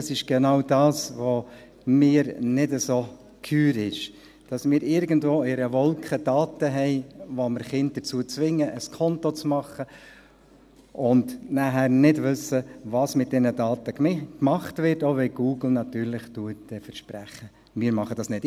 Das ist genau das, was mir nicht so geheuer ist, dass wir irgendwo in einer Wolke Daten haben, dass wir Kinder dazu zwingen, ein Konto zu machen, und danach nicht wissen, was mit diesen Daten gemacht wird, auch wenn Google natürlich verspricht, dass sie es nicht machen.